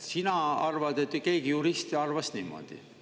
Sina arvad, et keegi juristi arvas niimoodi.